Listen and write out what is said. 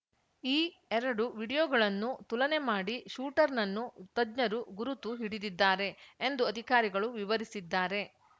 ಈ ಎರಡು ವಿಡಿಯೋಗಳನ್ನು ತುಲನೆ ಮಾಡಿ ಶೂಟರ್‌ನನ್ನು ತಜ್ಞರು ಗುರುತು ಹಿಡಿದಿದ್ದಾರೆ ಎಂದು ಅಧಿಕಾರಿಗಳು ವಿವರಿಸಿದ್ದಾರೆ